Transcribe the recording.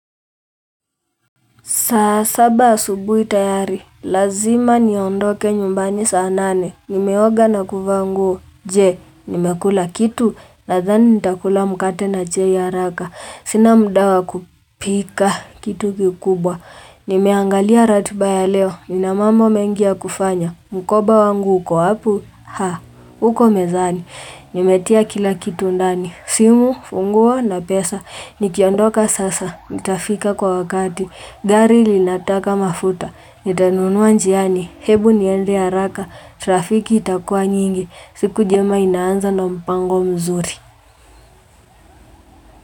Saa saba asubuhi tayari, lazima niondoke nyumbani saa nane. Nimeoga na kuvaa nguo, je, nimekula kitu, nadhani nitakula mkate na chai ya haraka. Sina mda wa kupika, kitu kikubwa. Nimeangalia ratiba ya leo, nina mambo mengi ya kufanya. Mkoba wangu, uko wapi? Ha, uko mezani. Nimetia kila kitu ndani, simu, funguo na pesa. Nikiondoka sasa, nitafika kwa wakati. Gari linataka mafuta, nitanunua njiani, hebu niende haraka, trafiki itakua nyingi, siku jema inaanza na mpango mzuri.